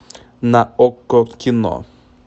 на окко кино